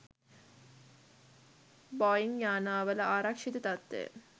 Boeing යානාවල ආරක්ෂිත තත්ත්වය